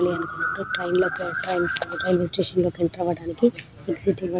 train లోకి railway station లోకి enter అవ్వడానికి ఎగ్జిట్ --